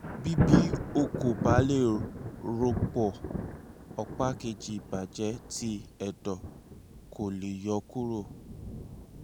bi bi o ko ba le rọpo ọpa keji ibajẹ ti ẹdọ ko le yọ kuro